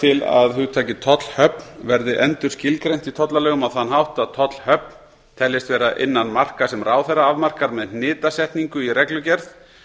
til að hugtakið tollhöfn verði endurskilgreint í tollalögum á þann hátt að tollhöfn teljist vera innan marka sem ráðherra afmarkar með hnitasetningu í reglugerð